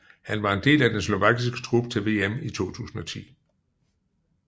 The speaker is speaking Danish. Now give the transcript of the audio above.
Han var en del af den slovakiske trup til VM i 2010